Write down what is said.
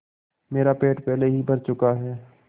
मेरा पेट पहले ही भर चुका है